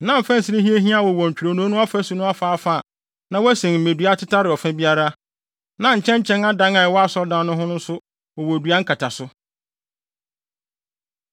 Na mfɛnsere hiahiaa wowɔ ntwironoo no afasu no afaafa a na wɔasen mmedua atetare ɔfa biara. Na nkyɛnkyɛn adan a ɛwɔ asɔredan no ho nso wowɔ dua nkataso.